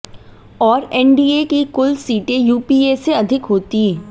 और एनडीए की कुल सीटें यूपीए से अधिक होती